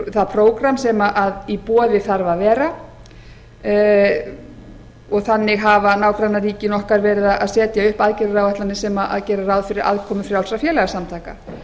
það prógramm sem í boði þarf að vera og þannig hafa nágrannaríkin okkar verið að setja upp aðgerðaáætlanir sem gera ráð fyrir aðkomu frjálsra félagasamtaka